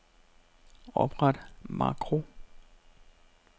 Opret makro.